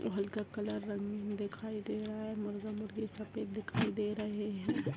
हल्का काला रंग दिखाई दे रहा है मुर्गा मुर्गी सफेद दिखाई दे रहे है ।